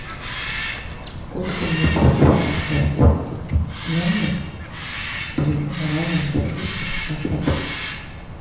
сколько мне придется ждать номер при раннем заезде в ваш отель